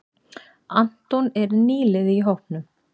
Anton er nýliði í hópnum.